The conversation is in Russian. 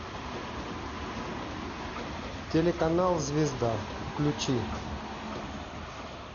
телеканал звезда включи